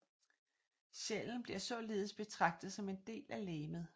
Sjælen bliver således betragtet som en del af legemet